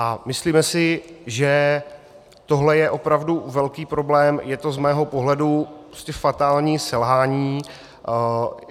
A myslíme si, že tohle je opravdu velký problém, je to z mého pohledu fatální selhání.